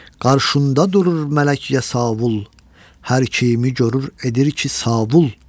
Qarşında durur mələk yesavul, hər kəyimi görür edir ki savul.